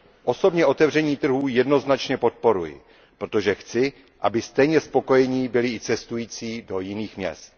Osobně otevření trhu jednoznačně podporuji, protože chci, aby stejně spokojení byli i cestující do jiných měst.